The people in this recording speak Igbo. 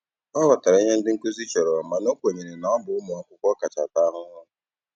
Ọ ghọtara ihe ndị nkuzi chọrọ mana o kwenyere na ọ bụ ụmụ akwụkwọ kacha ata ahụhụ.